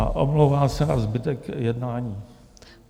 A omlouvám se na zbytek jednání.